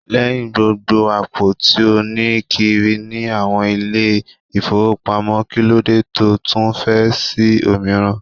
Lẹ́hìn gbogbo àpò tí ó ní kiri ní àwọn ilé-ifowopamo, kí ló dé tó tún fẹ́ sí òmíràn?